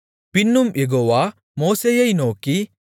பின்னும் யெகோவா மோசேயை நோக்கி